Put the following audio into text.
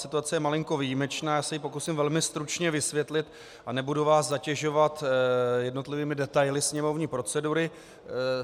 Situace je malinko výjimečná, já se ji pokusím velmi stručně vysvětlit a nebudu vás zatěžovat jednotlivými detaily sněmovní procedury.